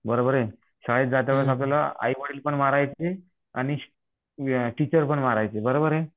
बरोबर आहे शाळेत जातवेळेस आपल्याला आईवडील पण मारायचे आणि टीचर पण मारायचे बरोबर आहे